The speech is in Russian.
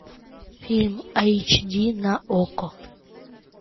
фильм айч ди на окко